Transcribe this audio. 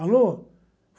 Alô?